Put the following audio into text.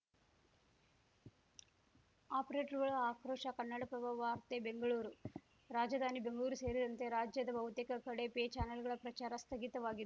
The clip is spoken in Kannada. ಆಪರೇಟರುಗಳ ಆಕ್ರೋಶ ಕನ್ನಡಪ್ರಭ ವಾರ್ತೆ ಬೆಂಗಳೂರು ರಾಜಧಾನಿ ಬೆಂಗಳೂರು ಸೇರಿದಂತೆ ರಾಜ್ಯದ ಬಹುತೇಕ ಕಡೆ ಪೇ ಚಾನೆಲ್‌ಗಳ ಪ್ರಸಾರ ಸ್ಥಗಿತವಾಗಿದ್ದು